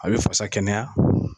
A bɛ fasa kɛnɛya